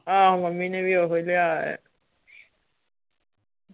ਆਹੋ ਮੰਮੀ ਨੇ ਵੀ ਓਹੋ ਹੀ ਲਿਆ ਆ .